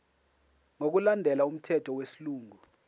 ngokulandela umthetho wesilungu